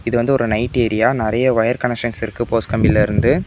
இது வந்து ஒரு நைட் ஏரியா நிறைய ஒயர் கனெக்சன்ஸ் இருக்கு போஸ்ட் கம்பிலருந்து.